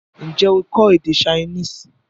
N jẹ́ o kọ́ èdè Chinese?